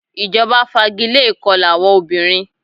Ìjọba fagilé ìkọla àwọn obìnrin.